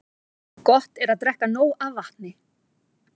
Gott er að drekka nóg af vatni.